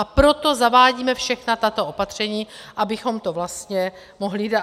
A proto zavádíme všechna tato opatření, abychom to vlastně mohli dát...